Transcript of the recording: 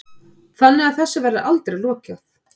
Þannig að þessu verður aldrei lokað